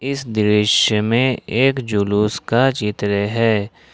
इस दृश्य में एक जुलूस का चित्र है।